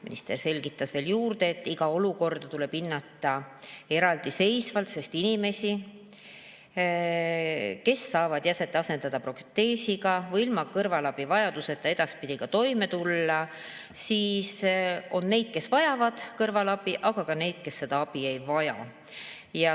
Minister selgitas veel juurde, et iga olukorda tuleb hinnata eraldiseisvalt, sest on inimesi, kes saavad jäset asendada proteesiga või ilma kõrvalabi vajaduseta edaspidi toime tulla, on neid, kes vajavad kõrvalabi, aga ka neid, kes seda abi ei vaja.